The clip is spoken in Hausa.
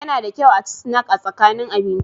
Yana da kyau a ci sinak a tsakanin abinci.